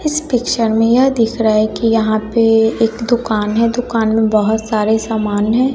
इस पिक्चर में यह दिख रहा है कि यहां पे एक दुकान है दुकान में बहुत सारे सामान हैं